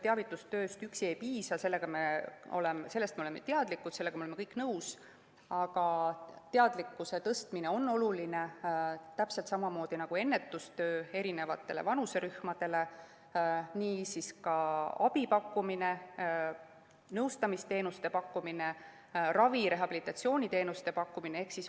Teavitustööst üksi ei piisa, sellega me oleme kõik nõus, aga teadlikkuse tõstmine on oluline täpselt samamoodi nagu ennetustöö eri vanuserühmade seas, ka abi pakkumine, nõustamisteenuste pakkumine, ravi‑ ja rehabilitatsiooniteenuste pakkumine.